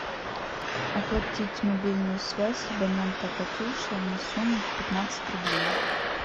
оплатить мобильную связь абонента катюша на сумму пятнадцать рублей